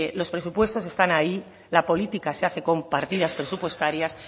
los presupuestos están ahí la política se hace con partidas presupuestarias